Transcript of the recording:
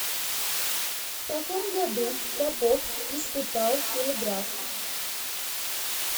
в каком году попов испытал телеграф